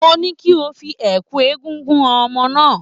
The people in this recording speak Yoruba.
Mo ní kí o fi ẹ̀kú egúngún han ọmọ náà